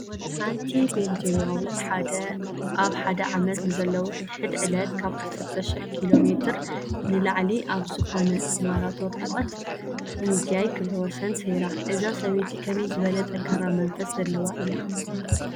ሓንቲ ቤልጄማዊት ኣብ ሓደ ዓመት ንዘለዉ ሕድ ሕድ ዕለት ካብ ዓሰርተ ሽሕ ኪሎ ሜትር ንላዕሊ ኣብ ዝኾነ ናይ ማራቶን ርሕቐት ብምጉያይ ክብረ ወሰን ሰይራ፡፡ እዛ ሰበይቲ ከመይ ዝበለ ጠንካራ መንፈስ ዘለዋ እያ?